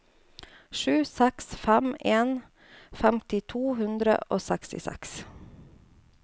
sju seks fem en femti to hundre og sekstiseks